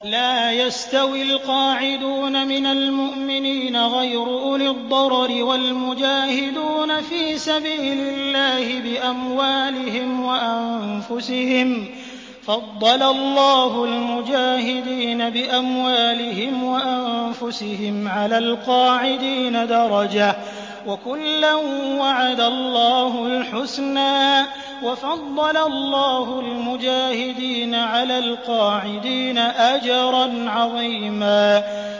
لَّا يَسْتَوِي الْقَاعِدُونَ مِنَ الْمُؤْمِنِينَ غَيْرُ أُولِي الضَّرَرِ وَالْمُجَاهِدُونَ فِي سَبِيلِ اللَّهِ بِأَمْوَالِهِمْ وَأَنفُسِهِمْ ۚ فَضَّلَ اللَّهُ الْمُجَاهِدِينَ بِأَمْوَالِهِمْ وَأَنفُسِهِمْ عَلَى الْقَاعِدِينَ دَرَجَةً ۚ وَكُلًّا وَعَدَ اللَّهُ الْحُسْنَىٰ ۚ وَفَضَّلَ اللَّهُ الْمُجَاهِدِينَ عَلَى الْقَاعِدِينَ أَجْرًا عَظِيمًا